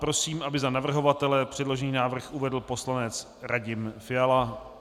Prosím, aby za navrhovatele předložený návrh uvedl poslanec Radim Fiala.